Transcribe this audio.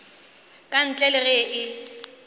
ka ntle le ge e